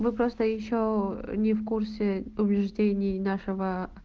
вы просто ещё не в курсе убеждений нашего